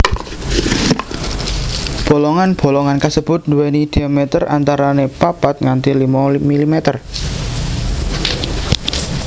Bolongan bolongan kasebut duwéni diameter antarané papat nganti limo milimeter